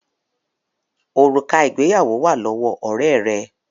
Òrùka ìgbéyàwó wá lọwọ Òré rẹ.